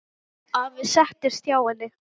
Afi settist hjá henni.